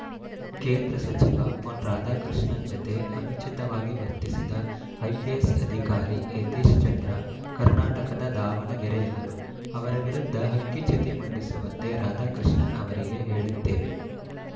ಕೇಂದ್ರ ಸಚಿವ ಪೊನ್‌ ರಾಧಾಕೃಷ್ಣನ್‌ ಜತೆ ಅನುಚಿತವಾಗಿ ವರ್ತಿಸಿದ ಐಪಿಎಸ್‌ ಅಧಿಕಾರಿ ಯತೀಶ್‌ ಚಂದ್ರ ಕರ್ನಾಟಕದ ದಾವಣಗೆರೆಯವರು ಅವರ ವಿರುದ್ಧ ಹಕಿಚತಿ ಮಂಡಿಸುವಂತೆ ರಾಧಾಕೃಷ್ಣನ್‌ ಅವರಿಗೆ ಹೇಳುತ್ತೇವೆ